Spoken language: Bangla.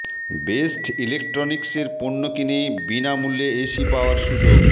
বেস্ট ইলেকট্রনিকসের পণ্য কিনে বিনা মূল্যে এসি পাওয়ার সুযোগ